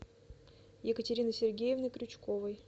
екатерины сергеевны крючковой